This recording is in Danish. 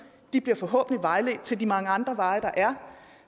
og de bliver forhåbentlig vejledt til de mange andre veje der